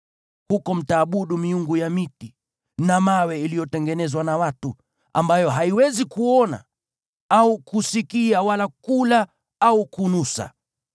Huko mtaabudu miungu ya miti na mawe iliyotengenezwa na watu, ambayo haiwezi kuona au kusikia wala kula au kunusa.